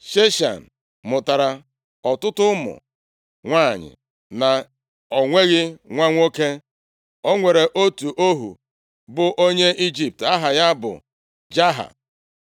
Sheshan mụtara ọtụtụ ụmụ nwanyị, ma o nweghị nwa nwoke. O nwere otu ohu bụ onye Ijipt, aha ya bụ Jaha.